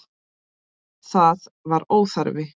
Það var óþarfi.